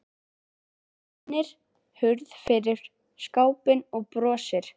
Hún rennir hurð fyrir skápinn og brosir.